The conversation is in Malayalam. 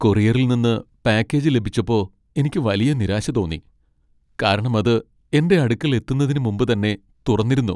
കൊറിയറിൽ നിന്ന് പാക്കേജ് ലഭിച്ചപ്പോ എനിക്ക് വലിയ നിരാശ തോന്നി , കാരണം അത് എന്റെ അടുക്കൽ എത്തുന്നതിന് മുമ്പ് തന്നെ തുറന്നിരുന്നു.